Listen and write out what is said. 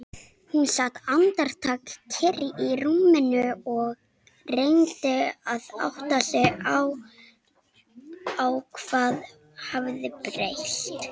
Hún sat andartak kyrr í rúminu og reyndi að átta sig á hvað hafði breyst.